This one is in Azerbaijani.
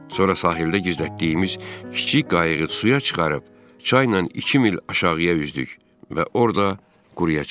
Sonra sahildə gizlətdiyimiz kiçik qayığı suya çıxarıb, çaynan iki mil aşağıya üzdük və orda quruyaya çıxdıq.